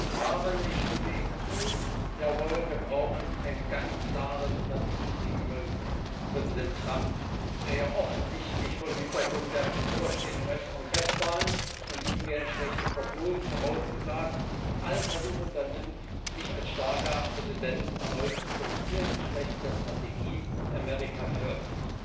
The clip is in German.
Frau Kommissarin, ich stimme Ihnen zu Jawohl, wir brauchen eine ganz klare Strategie gegenüber Präsident Trump, der ja offensichtlich vor dem Hintergrund der bevorstehenden US Kongresswahlen und ihm werden schlechte Prognosen vorausgesagt alle Versuche unternimmt, sich erneut als starker Präsident zu präsentieren, entsprechend der Strategie America First.